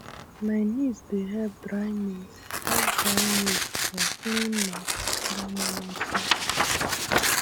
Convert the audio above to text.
my niece dey help dry maize help dry maize for clean mat under morning sun